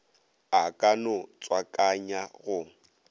a ka no tswakanya go